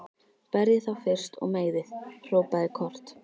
Berjið þá fyrst og meiðið, hrópaði Kort.